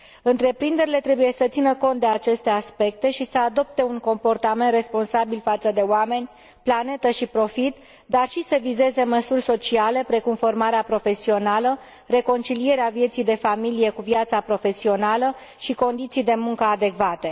Întreprinderile trebuie să țină cont de aceste aspecte și să adopte un comportament responsabil față de oameni, planetă și profit, dar și să vizeze măsuri sociale, precum formarea profesională, reconcilierea vieții de familie cu viața profesională și condiții de muncă adecvate.